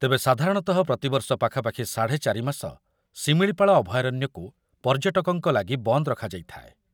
ତେବେ ସାଧାରଣତଃ ପ୍ରତିବର୍ଷ ପାଖାପାଖି ସାଢ଼େ ଚାରିମାସ ଶିମିଳିପାଳ ଅଭୟାରଣ୍ୟକୁ ପର୍ଯ୍ୟଟକଙ୍କ ଲାଗି ବନ୍ଦ ରଖାଯାଇଥାଏ।